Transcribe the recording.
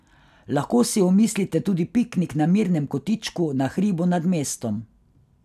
Lahko si omislite tudi piknik na mirnem kotičku na hribu nad mestom.